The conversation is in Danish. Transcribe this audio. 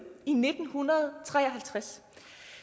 i nitten tre og halvtreds